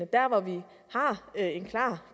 der hvor vi har en klar